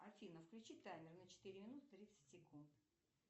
афина включи таймер на четыре минуты тридцать секунд